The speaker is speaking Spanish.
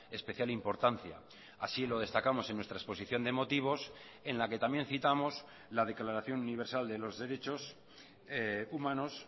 especial importancia así lo destacamos en nuestra exposición de motivos en la que también citamos la declaración universal de los derechos humanos